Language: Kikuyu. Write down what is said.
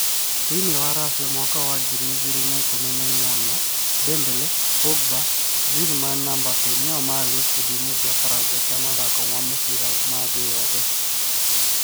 Thĩiniĩ wa Racia mwaka wa ngiri igĩrĩ na ikũmi na inyanya, Dembele, Pogba, Griezmann na Mbappe nĩo marĩ gĩkundi-inĩ kĩa baranja kĩa mathako ma mũbira ma thĩĩ yothe.